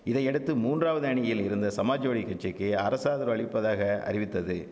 இதையடுத்து மூன்றாவது அணியில் இருந்த சமாஜ்வாடி கட்சிக்கி அரசாதரவு அளிப்பதாக அறிவித்தது